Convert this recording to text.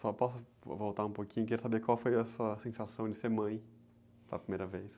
Só posso vo, voltar um pouquinho, quero saber qual foi a sua sensação de ser mãe, da primeira vez.